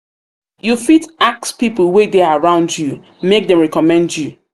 you fit ask pipo wey de around you make dem reccomend you